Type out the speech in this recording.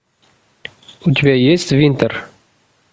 у тебя есть винтер